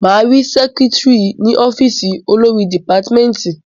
Máa rí sẹ́kítírì ní ọ́fìsì olórí dìpátímẹ́tì.